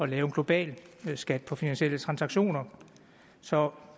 lave en global skat på finansielle transaktioner så